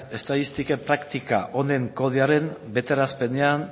estatistika praktika honen kodearen betearazpenean